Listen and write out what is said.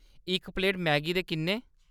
इक plate Maggi दे किन्ने ?